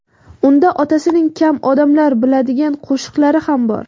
Unda otasining kam odamlar biladigan qo‘shiqlari ham bor.